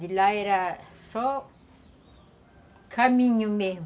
De lá era só caminho mesmo.